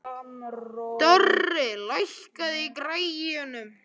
Dorri, lækkaðu í græjunum.